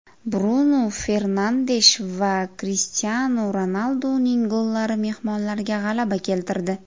Brunu Fernandesh va Krishtianu Ronalduning gollari mehmonlarga g‘alaba keltirdi.